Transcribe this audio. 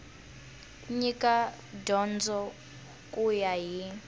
nyika dyondzo ku ya hi